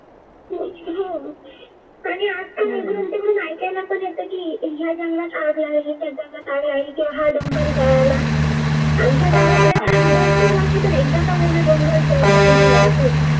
हा डोंगर चढला आमच्या गावाकडे तर